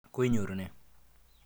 Koinyoru ne?